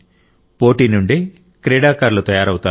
పోటీ నుండే క్రీడాకారులు తయారవుతారు